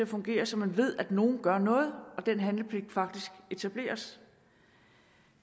fungere så man ved at nogle gør noget og at den handlepligt faktisk etableres